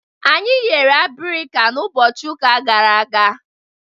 Anyị eghere abirika n'ụbọchị ụka gara aga.